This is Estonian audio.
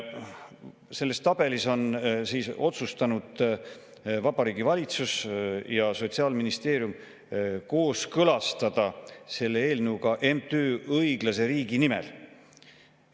Selles tabelis on siis otsustanud Vabariigi Valitsus ja Sotsiaalministeerium kooskõlastada selle eelnõu ka MTÜ‑ga Õiglase Riigi Nimel.